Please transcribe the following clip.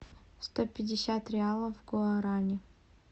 сто пятьдесят реалов в гуарани